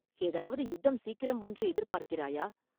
ஏதாவது யுத்தம் சீக்கிரம் வரும் என்று எதிர்பார்க்கிறாயா?